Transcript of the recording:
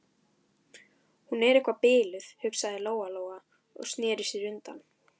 Hún er eitthvað biluð, hugsaði Lóa-Lóa og sneri sér undan.